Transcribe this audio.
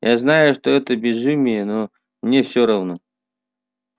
я знаю что это безумие но мне всё равно